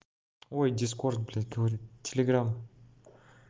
ой дискорд блядь говорю телеграм